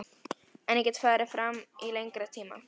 En ég get farið fram á lengri tíma.